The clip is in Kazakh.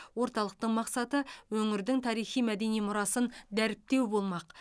орталықтың мақсаты өңірдің тарихи мәдени мұрасын дәріптеу болмақ